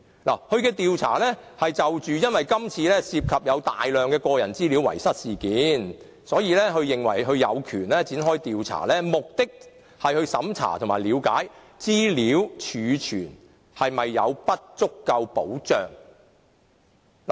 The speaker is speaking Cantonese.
由於今次事件涉及遺失大量個人資料，所以公署認為有權展開調查，目的是審查和了解資料儲存是否保障不足。